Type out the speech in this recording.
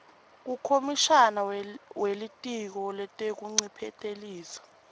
kukomishana welitiko letekuncephetelisa